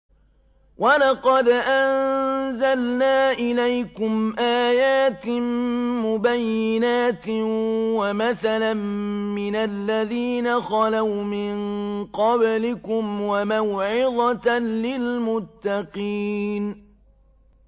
وَلَقَدْ أَنزَلْنَا إِلَيْكُمْ آيَاتٍ مُّبَيِّنَاتٍ وَمَثَلًا مِّنَ الَّذِينَ خَلَوْا مِن قَبْلِكُمْ وَمَوْعِظَةً لِّلْمُتَّقِينَ